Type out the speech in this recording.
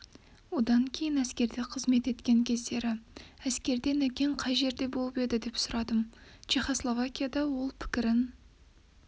одан кейін әскерде қызмет еткен кездері әскерде нәкең қай жерде болып еді сұрадым чехославакияда ол пікірін